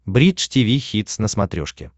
бридж тиви хитс на смотрешке